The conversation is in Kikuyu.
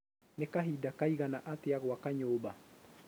Nĩ kahinda kaigana atĩa gwaka nyũmba?